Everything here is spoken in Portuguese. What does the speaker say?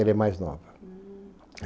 Ela é mais nova. Hm.